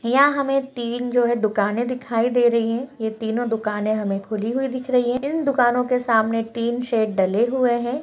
यहाँ हमें तीन जो है दुकानें दिखाई दे रही है। ये तीनो दुकानें हमें खुली हुई दिख रही है। इन दुकानों के सामने एक टिन शेड डले हुए हैं।